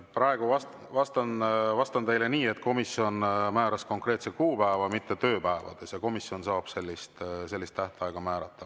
Praegu vastan teile nii, et komisjon määras konkreetse kuupäeva, mitte tööpäevade järgi, ja komisjon saab sellist tähtaega määrata.